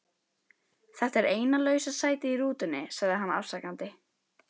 Þetta er eina lausa sætið í rútunni sagði hann afsakandi.